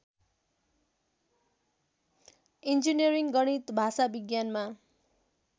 engineering गणित भाषाविज्ञानमा